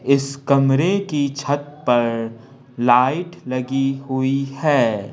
इस कमरे की छत पर लाइट लगी हुई है।